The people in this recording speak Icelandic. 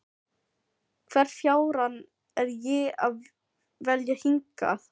Hvern fjárann er ég að vilja hingað?